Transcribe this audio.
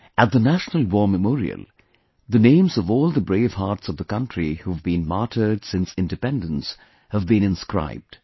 At the 'National War Memorial', the names of all the bravehearts of the country who have been martyred since Independence have been inscribed